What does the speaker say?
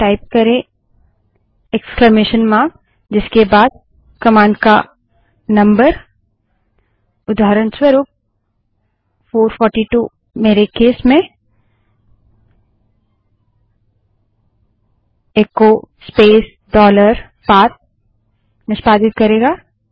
type करें विस्मयादिबोधक चिह्न इक्स्लामेशन मार्क जिसके बाद कमांड का नम्बर उदाहरणस्वरूप 442 मेरे केस में इको स्पेस डॉलर पाथ निष्पादित करेगा